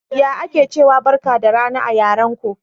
Ya ake ciwa Barka da rana a yaran ko?